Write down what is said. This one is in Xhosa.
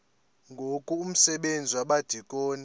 ngoku umsebenzi wabadikoni